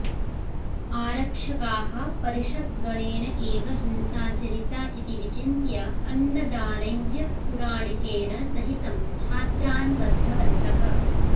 आरक्षकाः परिषद्गणेन एव हिंसाचरिता इति विचिन्त्य अन्नदानय्य पुराणिकेन सहितं छात्रान् बद्धवन्तः